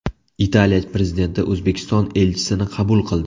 Italiya prezidenti O‘zbekiston elchisini qabul qildi.